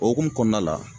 O hokumu kɔnɔna la